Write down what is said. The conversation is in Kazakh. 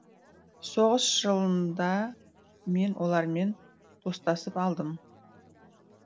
соғыс жылында мен олармен достасып алдым